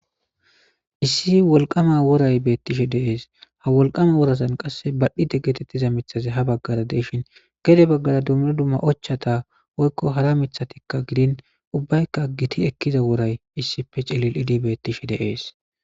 Issi wolqama woray bettishe deees ha wolqama worasan qasse badhi de getettiza mithaze ha baggara deishin gede baggara dumra dumma ochchata woykko hara mithatikka gidin ubbaykka giti ekkiza woray issife celil idibettishe deees.